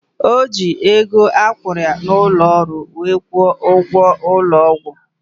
Ojii ego akwuru ya na ulo olu wee kwo ugwo ulo ogwu